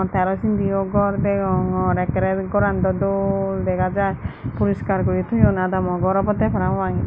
te araw sindiyo gor degongor ekkere goran daw dol dega jai puriskar guri toyon adamo gor obode parapang.